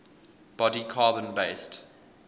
body carbon based